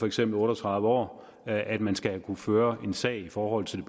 eksempel otte og tredive år at man skal kunne føre en sag i forhold til